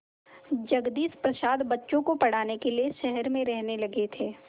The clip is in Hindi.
जगदीश प्रसाद बच्चों को पढ़ाने के लिए शहर में रहने लगे थे